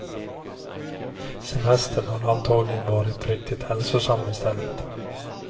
Semestern har antagligen varit riktigt hälsosam i stället.